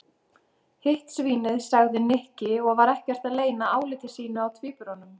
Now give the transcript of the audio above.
Hitt svínið sagði Nikki og var ekkert að leyna áliti sínu á tvíburunum.